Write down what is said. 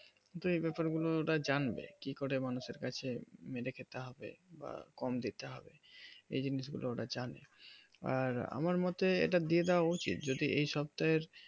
যেই ব্যাপার গুলো ওরা জানবে কি করে মানুষের কাছে মেরে খেতে হবে বা কম দিতে হবে সেই জিনিস গুলো ওরা জানে আর আমার মোতে এটা দিয়ে দেওয়া উচিত যদি এই সপ্তাহের